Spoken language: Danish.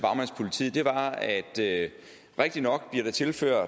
det